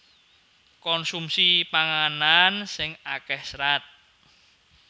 Konsumsi panganan sing akéh serat